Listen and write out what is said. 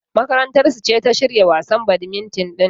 Makarantar su ce ta shirya wasan badmintan din.